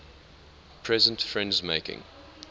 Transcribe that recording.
present friends making